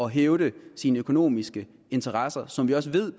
hævde sine økonomiske interesser som vi også ved